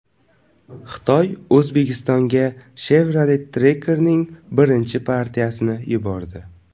Xitoy O‘zbekistonga Chevrolet Tracker’ning birinchi partiyasini yubordi.